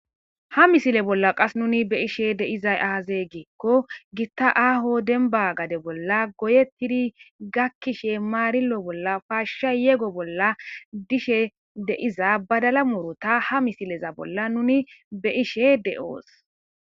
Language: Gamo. Ha misile bola Kase nuuni be'ishe dizay aaze giikon gita aaho demba gade bolla goyetidi gakishe maarilo bolla paashiya yego bolla dishe de'iza badala muruta ha misile bola nuuni be'ishe de'os.